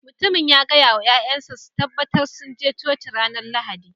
Mutumin ya gaya wa 'ya'yansa su tabbatar sun je Coci ranar Lahadi